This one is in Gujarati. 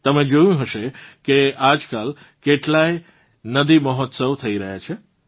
તમે જોયું હશે કે આજકાલ કેટલાય નદી મહોત્સવ થઇ રહ્યાં છે